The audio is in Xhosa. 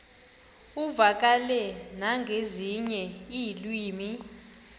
uvakale nangezinye iilwimi